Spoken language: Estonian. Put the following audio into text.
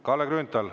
Kalle Grünthal.